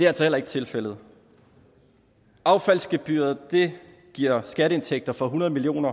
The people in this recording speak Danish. altså heller ikke tilfældet affaldsgebyret giver skatteindtægter for hundrede million